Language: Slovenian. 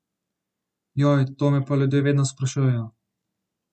Joj, to me pa ljudje vedno sprašujejo.